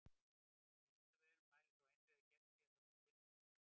Vísindavefurinn mælir þó eindregið gegn því að þessi tilraun sé endurtekin!